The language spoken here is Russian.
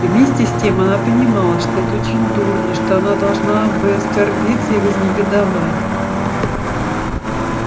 и вместе с тем она понимала что это очень дурно что она должна бы оскорбиться и вознегодовать